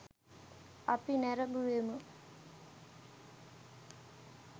අපි නැරඹුවෙමු.